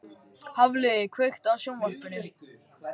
Hafliði, kveiktu á sjónvarpinu.